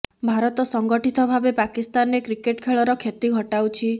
ଭାରତ ସଂଗଠିତ ଭାବେ ପାକିସ୍ତାନରେ କ୍ରିକେଟ ଖେଳର କ୍ଷତି ଘଟାଉଛି